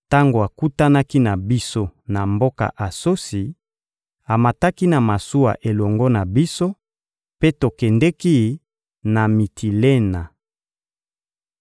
Tango akutanaki na biso na mboka Asosi, amataki na masuwa elongo na biso, mpe tokendeki na Mitilena.